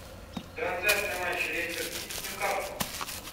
трансляция матча лестер сити с ньюкаслом